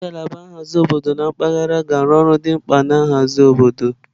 Ngalaba nhazi obodo na mpaghara ga-arụ ọrụ dị mkpa na nhazi obodo.